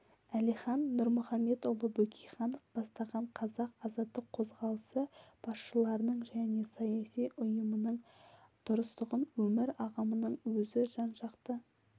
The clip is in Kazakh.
әлихан нұрмұхаметұлы бөкейханов бастаған қазақ азаттық қозғалысы басшыларының және саяси ұйымының дұрыстығын өмір ағымының өзі жан-жақты